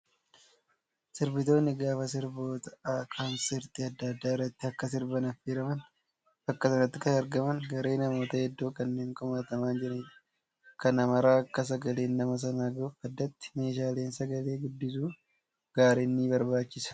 Sirbitoonni gaafa sirboota konsartii adda addaa irratti akka sirban affeeraman bakka sanatti kan argaman garee namoota hedduu kanneen kumaatamaan jranidha. Kana maraa akka sagaleen nama sanaa gahuuf addatti meeshaaleen sagalee guddisu gaariin ni barbaachisa.